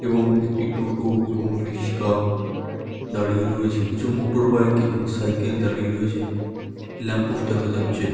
এবং একটি টোটো এবং রিস্কা দাঁড়িয়ে রয়েছে। কিছু মোটরবাইক এবং সাইকেল দাঁড়িয়ে রয়েছে। ল্যাম্প পোস্ট দেখা যাচ্ছে।